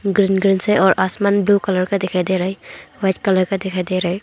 Green green से है और आसमान ब्लू कलर का दिखाई दे रहे है व्हाइट कलर का दिखाई दे रहे हैं।